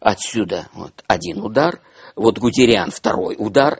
отсюда вот один удар вот гудериан второй удар